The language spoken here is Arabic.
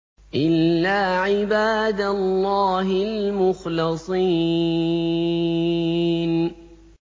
إِلَّا عِبَادَ اللَّهِ الْمُخْلَصِينَ